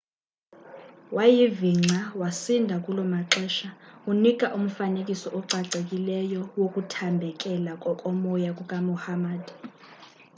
wayivingca wasinda kulomaxesha unika umfanekiso ocacileyo wokuthambekela kokomoya kukamuhammad